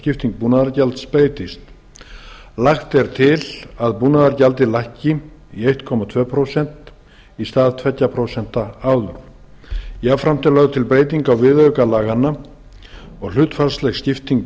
skipting búnaðargjalds breytist lagt er til að búnaðargjaldið lækki í eitt komma tvö prósent í stað tveggja prósenta áður jafnframt er lögð til breyting á viðauka laganna og hlutfallslegri skiptingu